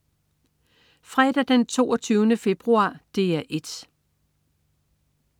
Fredag den 22. februar - DR 1: